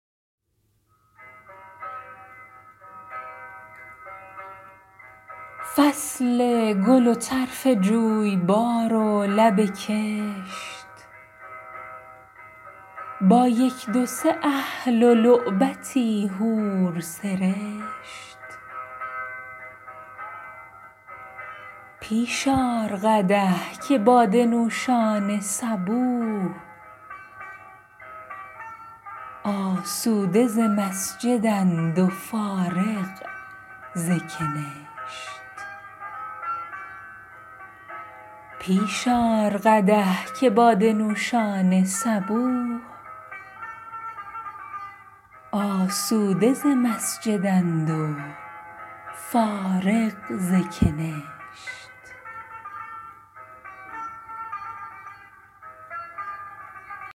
فصل گل و طرف جویبار و لب کشت با یک دو سه اهل و لعبتی حور سرشت پیش آر قدح که باده نوشان صبوح آسوده ز مسجد ند و فارغ ز کنشت